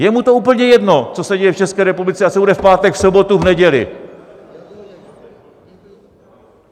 Je mu to úplně jedno, co se děje v České republice a co bude v pátek, v sobotu, v neděli.